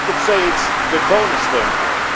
I could say it is the cornerstone here.